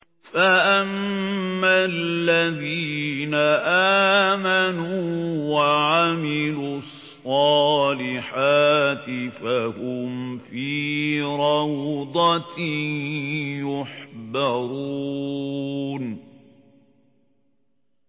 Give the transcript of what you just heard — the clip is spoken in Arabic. فَأَمَّا الَّذِينَ آمَنُوا وَعَمِلُوا الصَّالِحَاتِ فَهُمْ فِي رَوْضَةٍ يُحْبَرُونَ